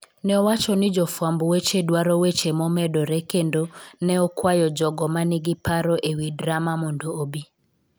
Ne owacho ni jofwamb weche dwaro weche momedore kendo ne okwayo jogo ma nigi paro e wi drama mondo obi.